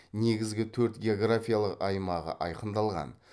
негізгі төрт географиялық аймағы айқындалған